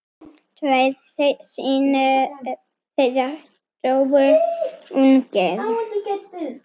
Tveir synir þeirra dóu ungir.